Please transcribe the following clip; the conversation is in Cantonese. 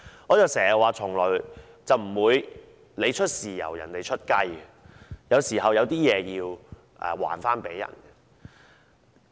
我經常說，從來不會出現"你出豉油人家出雞"的情況，有時候是要償還的。